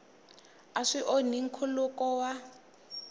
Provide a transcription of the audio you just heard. a swi onhi nkhuluko wa